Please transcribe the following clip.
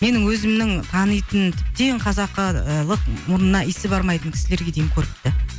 менің өзімнің танитын тіптен қазақылық мұрнына иісі бармайтын кісілерге дейін көріпті